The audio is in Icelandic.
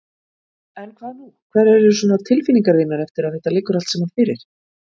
En hvað nú, hverjar eru svona tilfinningar þínar eftir að þetta liggur allt saman fyrir?